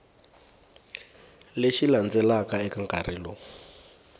lexi landzelaka eka nkarhi lowu